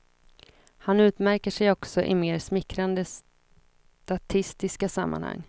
Han utmärker sig också i mer smickrande statistiska sammanhang.